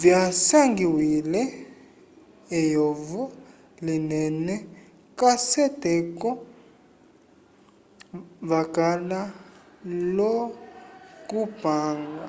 vyasangiwile eyovo linene k'aseteko vakala l'okupanga